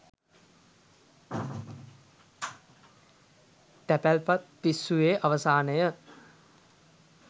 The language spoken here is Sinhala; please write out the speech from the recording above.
තැපැල්පත් පිස්සුවේ අවසානය